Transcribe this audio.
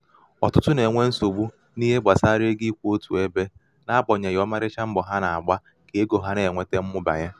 ọ̀tụtụ nà-ènwe nsogbu n’ihe gbàsara ego ịkwụ̄ otù ebē na--agbànyèghì ọmarịcha mbọ̀ ha nà-àgba ka ego ha nà-ènweta mụbanye.